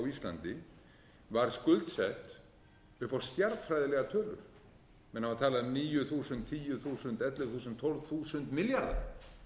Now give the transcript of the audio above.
íslandi var skuldsett upp á stjarnfræðilegar tölur menn hafa talað um níu þúsund tíu þúsund ellefu þúsund tólf þúsund milljarða